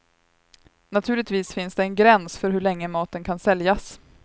Naturligtvis finns det en gräns för hur länge maten kan säljas.